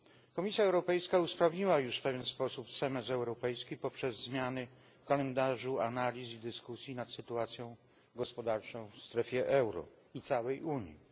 Komisja Europejska usprawniła już w pewien sposób semestr europejski poprzez zmiany w kalendarzu analiz i dyskusji nad sytuacją gospodarczą w strefie euro i całej Unii.